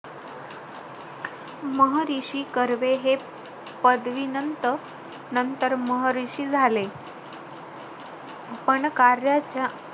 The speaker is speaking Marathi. महरीशी कर्वे हे पदवीनंत~ नंतर महरिषी झाले. पण कार्याच्या,